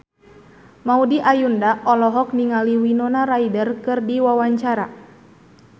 Maudy Ayunda olohok ningali Winona Ryder keur diwawancara